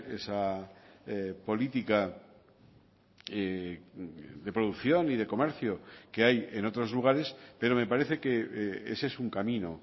esa política de producción y de comercio que hay en otros lugares pero me parece que ese es un camino